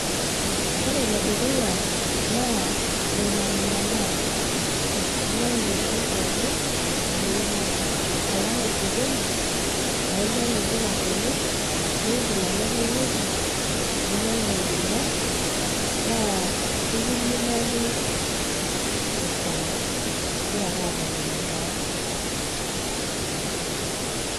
Ore enedukuya naa, mimanimanaa. Inyang'u intokiting pookin tewoi nabo. Alang osokoni, la inyang'u mpuka tene, nigil alo enkae wueji, ninyang'u enkurma, naa kekiminaki esaa igira ake amanimanaa.